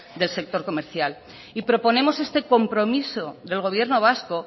del sector comercial y proponemos este compromiso del gobierno vasco